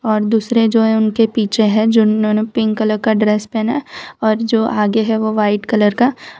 और दूसरे जो है उनके पीछे हैं जिन्होंने पिंक कलर का ड्रेस पहना है और जो आगे है वह व्हाइट कलर का --